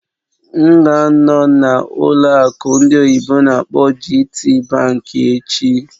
M ga-anọ na ụlọ akụ ndị oyibo n'akpọ "GTBank" echi